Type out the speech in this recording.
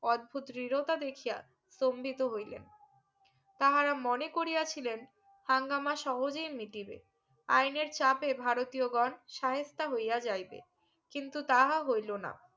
অদ্ভুত দৃরতা দেখিয়া স্তম্ভিত হইলেন তাহারা মনে করিয়া ছিলেন দাঙ্গামা সহজে মিটেবে আইনের চাপে ভারতীয় গন সাহেস্তা হইয়া যাইবে কিন্তু তাঁহা হইলো না